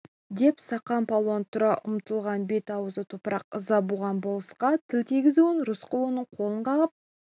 деп сақан палуан тұра ұмтылған бет-аузы топырақ ыза буған болысқа тіл тигізуін рысқұл оның қолын қағып